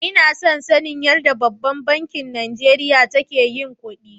Ina son sanin yarɗa ɓabban banki Najeriya take yin kuɗi.